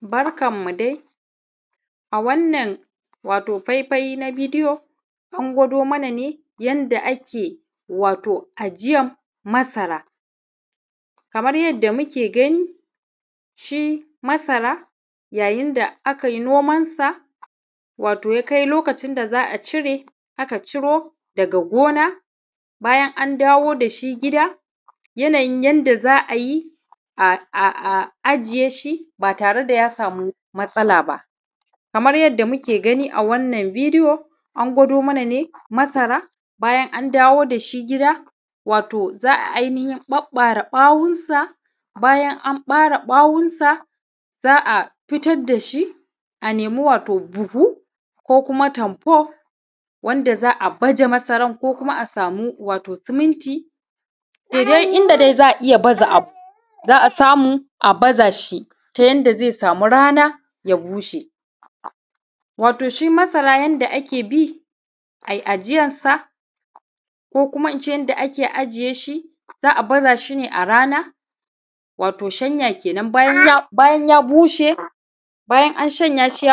Barkanmu dai Wato a wannan faifai na bidiyo an gwado mana ne yadda ake ajiyar masara yadda muke gani shi masara yayin da akai nomansa ya kai lokacin da za a cire akan ciro daga gona, bayan an dawo da shi gida, yanayin yadda za a za a yi a ajiye shi ba tare da ya sama matsala ba. Kamar yadda muke gani a wannan bidiyo an gwado mana ne bayan an dawo da shi gida za a ɓaɓɓare bawonsa. Bayan an ɓare ɓawonsa za a fitar da shi a nemi wato buhu ko kuma tamful wanda za a baje masara ko kuma a sama wato seminti daidai inda dai za a iya baza abu a samu a baza shi ta yadda zai samu rana ya bushe. Wato shi masara yadda ake bi a yi ajiyarsa ko kuma in ce yadda ake ajiye shi za a baza shi ne a rana, wato shanya kenan bayan ya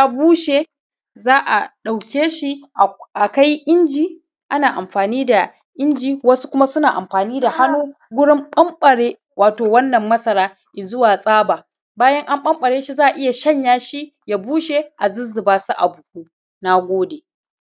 bushe. Za a ɗauke shi a kai inji ana amfani da inji wasu kuma suna amfani da hunnu wurin ɓanɓare wato wannan masara ya zuwa tsaba. Bayan an ɓanɓare za iya shanya shi ya bushe a zuzzuba shi a buhu. Na gode.